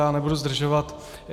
Já nebudu zdržovat.